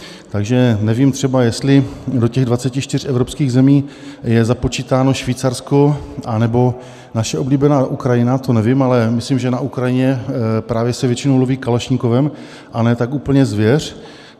Takže nevím třeba, jestli do těch 24 evropských zemí je započítáno Švýcarsko anebo naše oblíbená Ukrajina, to nevím, ale myslím, že na Ukrajině právě se většinou loví kalašnikovem, a ne tak úplně zvěř.